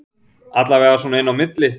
Allavega svona inni á milli